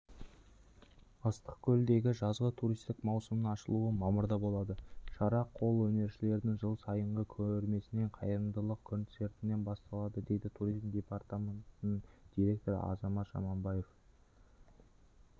ыссық-көлдегі жазғы туристік маусымның ашылуы мамырда болады шара қол өнершілердің жыл сайынғы көрмесінен қайырымдылық концертіненбасталады деді туризм департаментінің директоры азамат жаманқұлов